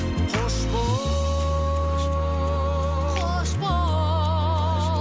қош бол қош бол